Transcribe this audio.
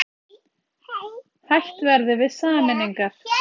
Hætt verði við sameiningar